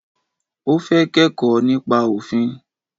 O fẹ́ kẹ́kọ̀ọ́ nípa òfin.